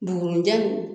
Dugunijani